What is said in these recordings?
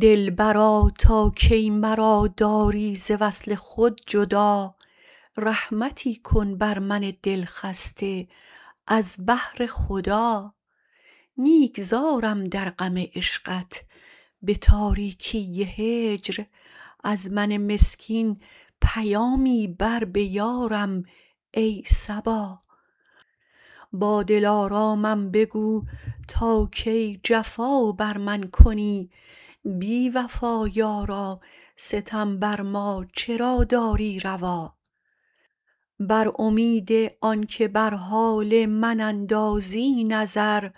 دلبرا تا کی مرا داری ز وصل خود جدا رحمتی کن بر من دلخسته از بهر خدا نیک زارم در غم عشقت به تاریکی هجر از من مسکین پیامی بر به یارم ای صبا با دلارامم بگو تا کی جفا بر من کنی بی وفا یارا ستم بر ما چرا داری روا بر امید آنکه بر حال من اندازی نظر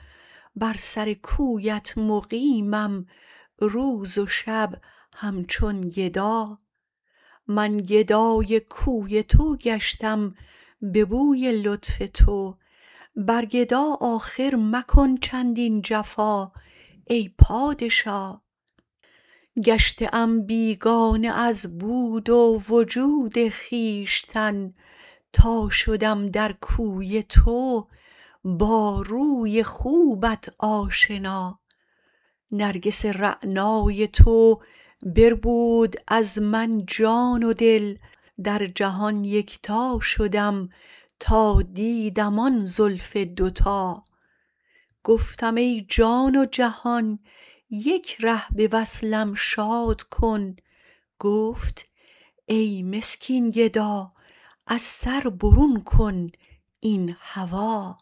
بر سر کویت مقیمم روز و شب همچون گدا من گدای کوی تو گشتم به بوی لطف تو بر گدا آخر مکن چندین جفا ای پادشا گشته ام بیگانه از بود و وجود خویشتن تا شدم در کوی تو با روی خوبت آشنا نرگس رعنای تو بربود از من جان و دل در جهان یکتا شدم تا دیدم آن زلف دوتا گفتم ای جان و جهان یک ره به وصلم شاد کن گفت ای مسکین گدا از سر برون کن این هوا